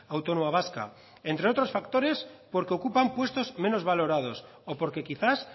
autónoma vasca entre otros factores porque ocupan puestos menos valorados o porque quizás